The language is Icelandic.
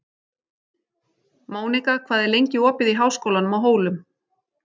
Mónika, hvað er lengi opið í Háskólanum á Hólum?